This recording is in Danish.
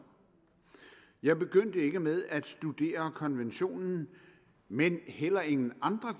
jeg begyndte ikke med at studere konventionen men heller ingen andre